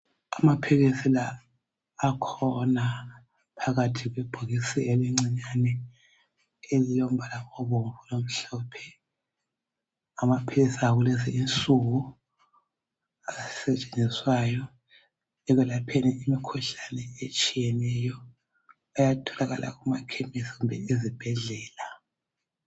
Amaphilisi la akhona phakathi kwebhokisi elincinyane elilombala obomvu lomhlophe. Amaphilisi akulezi insuku asetshenziswayo ekwelapheni imikhuhlane etshiyeneyo. Ayatholakala emakhemesi kumbe ezibhedlela.